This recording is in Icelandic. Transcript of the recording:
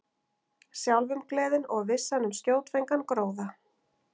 Sjálfumgleðin og vissan um skjótfenginn gróða.